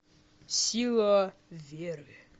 сила веры